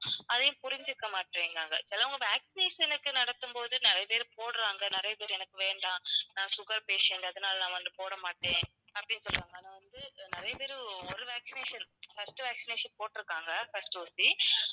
அதையும் புரிஞ்சுக்க மாட்டேங்குறாங்க. சிலவங்க vaccination க்கு நடத்தும்போது நிறைய பேர் போடுறாங்க, நிறைய பேர் எனக்கு வேண்டாம் நான் sugar patient அதனால நான் வந்து போடமாட்டேன் அப்படின்னு சொன்னாங்க ஆனா வந்து அஹ் நிறைய பேரு ஒரு vaccination first vaccination போட்டிருக்காங்க first ஊசி.